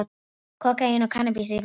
Kókaín og kannabis í vatnsbóli